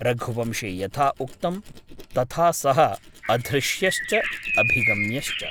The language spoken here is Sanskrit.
रघुवंशे यथा उक्तं तथा सः ' अधृष्यश्च अभिगम्यश्च '।